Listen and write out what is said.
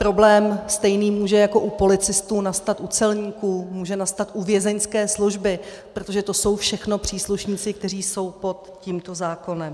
Problém stejný může jako u policistů nastat u celníků, může nastat u vězeňské služby, protože to jsou všechno příslušníci, kteří jsou pod tímto zákonem.